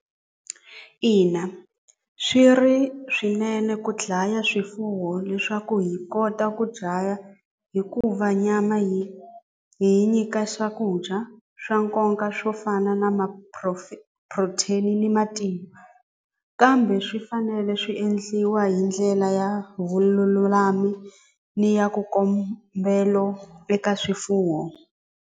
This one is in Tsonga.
Ina swi ri swinene ku dlaya swifuwo leswaku hi kota ku dlaya hikuva nyama hi hi nyika swakudya swa nkoka swo fana xana na ma-protein ni matimba kambe swi fanele swi endliwa hi ndlela ya vululami ni ya ku kombelo eka swifuwo.